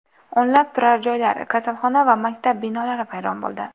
O‘nlab turar joylar, kasalxona va maktab binolari vayron bo‘ldi.